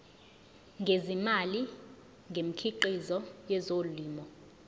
ngezimali ngemikhiqizo yezolimo